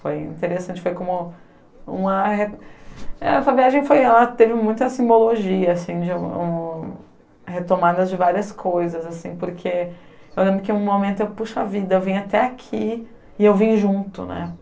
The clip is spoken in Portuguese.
Foi interessante, foi como uma... Essa viagem foi... ela teve muita simbologia, assim, de um retomadas de várias coisas, assim, porque eu lembro que em um momento eu, puxa vida, eu vim até aqui e eu vim junto, né?